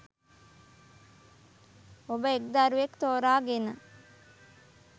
ඔබ එක් දරුවෙක් තෝරා ගෙන